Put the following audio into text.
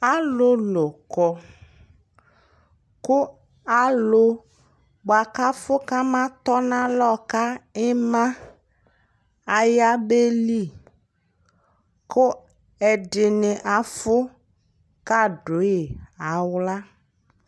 alʋlʋ kɔ kʋ alʋ bʋakʋ aƒʋ ka ama tɔnʋ alɔbka ima aya bɛli kʋ ɛdini aƒʋ ka dʋyi ala